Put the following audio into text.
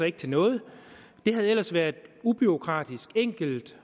ikke til noget det havde ellers været en ubureaukratisk enkel